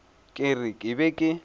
ke re ke be ke